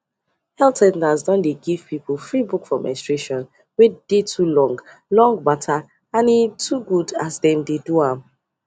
health centres don dey give people free book for menstruation wey dey too long long matter and e too good as dem dey do am